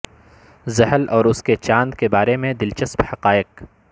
زحل اور اس کے چاند کے بارے میں دلچسپ حقائق